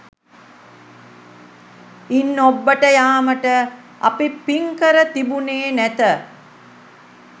ඉන් ඔබ්බට යාමට අප පින්කර තිබුණේ නැත